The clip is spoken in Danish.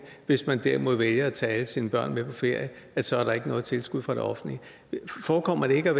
hvis man derimod vælger at tage alle sine børn med på ferie så er der ikke noget tilskud fra det offentlige forekommer det ikke